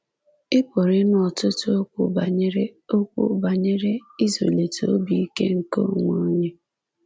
Ị pụrụ ịnụ ọtụtụ okwu banyere okwu banyere ịzụlite obi ike nke onwe onye.